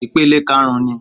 Ìpele karùn-ún ni